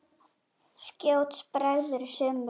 Skjótt bregður sumri.